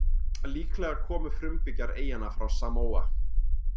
Líklega komu frumbyggjar eyjanna frá Samóa.